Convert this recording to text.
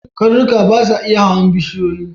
Karnuka ba su iya hawan bishiyoyi.